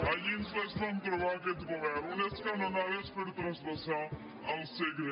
allí ens les vam trobar aquest govern unes canonades per transvasar el segre